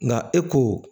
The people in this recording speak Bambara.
Nka e ko